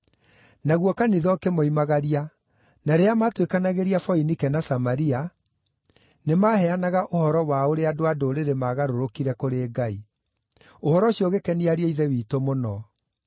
Naguo kanitha ũkĩmoimagaria, na rĩrĩa maatuĩkanagĩria Foinike na Samaria, nĩmaheanaga ũhoro wa ũrĩa andũ-a-Ndũrĩrĩ maagarũrũkire kũrĩ Ngai. Ũhoro ũcio ũgĩkenia ariũ a Ithe witũ mũno.